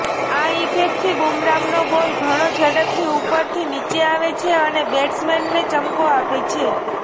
આ ઇફેક્ટથી બુમરાહનો બોલ ઘણો ઝડપથી ઉપરથી નીચે આવે છે અને બેટ્સમેનને ચકમો આપે છે